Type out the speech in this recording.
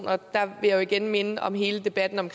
og der vil jeg igen minde om hele debatten om